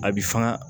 A bi faga